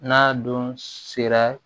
N'a don sera